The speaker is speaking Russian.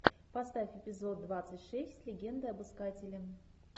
поставь эпизод двадцать шесть легенда об искателе